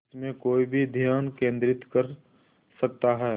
जिसमें कोई भी ध्यान केंद्रित कर सकता है